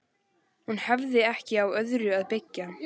Hún hafði ekki á öðru að byggja.